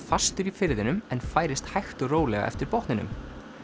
fastur í firðinum en færist hægt og rólega eftir botninum